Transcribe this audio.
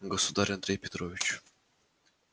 государь андрей петрович